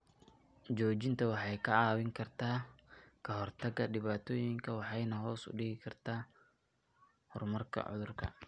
Joojinta waxay kaa caawin kartaa ka hortagga dhibaatooyinka waxayna hoos u dhigtaa horumarka cudurka.